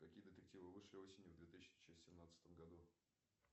какие детективы вышли осенью в две тысячи семнадцатом году